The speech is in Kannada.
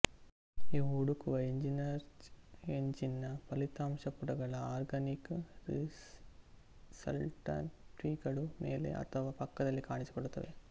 ಇವು ಹುಡುಕುವ ಎಂಜಿನ್ಸರ್ಚ್ ಎಂಜಿನ್ನ ಫಲಿತಾಂಶ ಪುಟಗಳ ಆರ್ಗಾನಿಕ್ ರಿಸಲ್ಟ್ಸ್ಪಟ್ಟಿಗಳುಮೇಲೆ ಅಥವಾ ಪಕ್ಕದಲ್ಲಿ ಕಾಣಿಸಿಕೊಳ್ಳುತ್ತದೆ